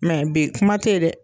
Mɛ bi kuma te ye dɛ